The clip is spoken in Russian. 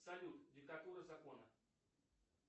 салют диктатура закона